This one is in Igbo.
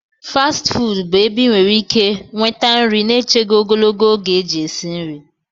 fasti fuudu bụ ebe ị nwere ike nweta nri na-echeghị ogologo oge eji esi nri